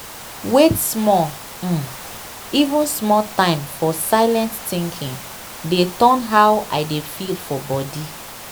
wait small um even small time for silent thinking dey turn how i dey feel for body.